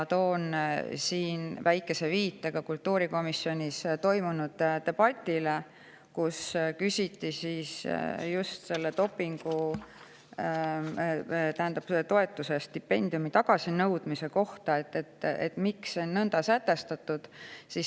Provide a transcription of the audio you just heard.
Teen siin väikese viite ka kultuurikomisjonis toimunud debatile, kus küsiti just toetuse või stipendiumi tagasinõudmise kohta, et miks see on nõnda sätestatud.